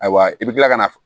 Ayiwa i bɛ kila ka na